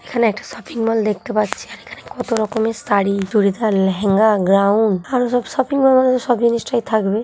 এখানে একটা shopping mall দেখতে পাচ্ছিএখানে এখানে কত রকমের শাড়ি চুড়িদার লেহেঙ্গা গ্রাউন্ড আরো সব শপিং মল মানে সবই জিনিসটাই নিশ্চয় থাকবে ।